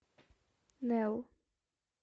нео